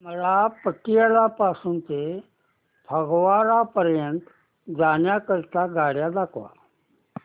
मला पटियाला पासून ते फगवारा पर्यंत जाण्या करीता आगगाड्या दाखवा